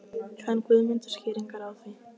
Kann Guðmundur skýringar á því?